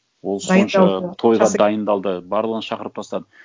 ол сонша тойға дайындалды барлығын шақырып тастады